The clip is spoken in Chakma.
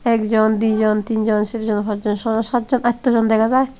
ekjon dijon teenjon serjon pajjon sojon satjon attojon dega jai.